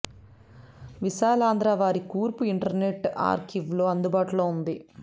విశాలాంధ్ర వారి కూర్పు internet archive లో అందుబాటులో ఉంది